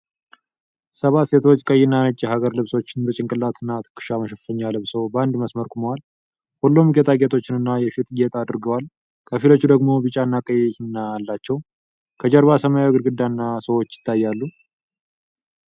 ሰባት ሴቶች ቀይና ነጭ የሀገር ልብሶችን በጭንቅላትና ትከሻ መሸፈኛ ለብሰው በአንድ መስመር ቆመዋል። ሁሉም ጌጣጌጦችንና የፊት ጌጥ አድርገዋል፣ ከፊሎቹ ደግሞ ቢጫና ቀይ ሂና አላቸው። ከጀርባ ሰማያዊ ግድግዳና ሰዎች ይታያሉ።